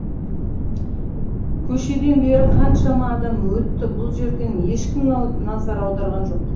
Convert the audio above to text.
көшеден бері қаншама адам өтті бұл жерден ешкім назар аударған жоқ